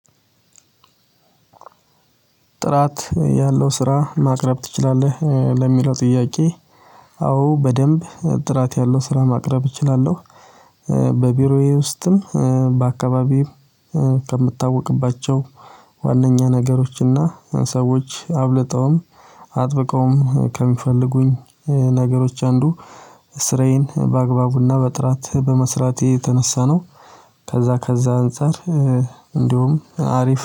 ጥራት ያለው ስራ ማቅረብ ትችላለህ ለሚለው ጥያቄ? አዎ በደንብ ጥራት ያለው ስራ ማቅረብ እችላለሁ። በቢሮዬ ውስጥም በአካባቢዬም ከምታወቅባቸው ዋነኛ ነገሮችና ሰዎች አብልጠውም አጥብቀውም ከሚፈልጉኝ ነገሮች አንዱ ስራዬን በአግባቡና በጥራት በመስራቴ የተነሳ ነው። ከዛ ከዛ አንፃር እንደውም አሪፍ